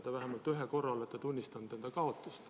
Te vähemalt ühe korra olete tunnistanud enda kaotust.